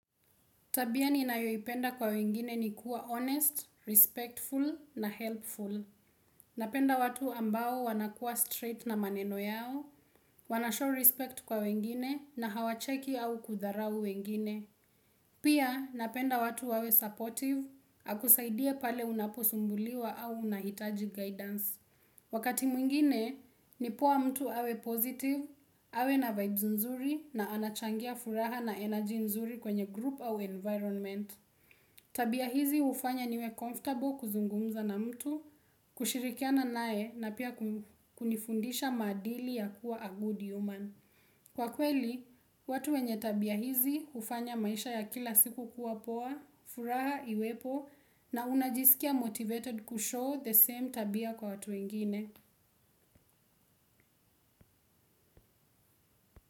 Tabia ni nayo ipenda kwa wengine ni kuwa honest, respectful na helpful. Napenda watu ambao wanakua straight na maneno yao, wanashow respect kwa wengine na hawacheki au kudharau wengine. Pia napenda watu wawe supportive, akusaidie pale unaposumbuliwa au unahitaji guidance. Wakati mwingine, nipoa mtu awe positive, awe na vibes nzuri na anachangia furaha na energy nzuri kwenye group au environment. Tabia hizi ufanya niwe comfortable kuzungumza na mtu, kushirikiana naye na pia kunifundisha madili ya kuwa a good human. Kwa kweli, watu wenye tabia hizi hufanya maisha ya kila siku kuwa poa, furaha iwepo na unajisikia motivated kushow the same tabia kwa watu wengine.